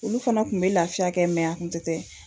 Olu fana kun bɛ lafiya kɛ mɛ a kun tɛtɛ